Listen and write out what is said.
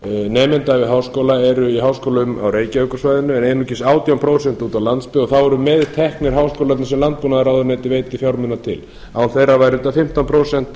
nemenda við háskóla eru í háskólum á reykjavíkursvæðinu en einungis átján prósent úti á landsbyggð og þá eru meðteknir háskólarnir sem landbúnaðarráðuneytið veita fjármuna til án þeirra væri þetta fimmtán prósent